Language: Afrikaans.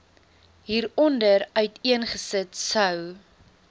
hieronder uiteengesit sou